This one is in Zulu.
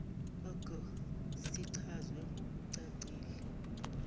g sichazwe ngokucacile